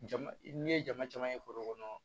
Jama n'i ye jama caman ye foro kɔnɔ